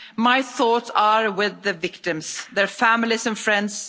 My thoughts are with the victims, their families and friends.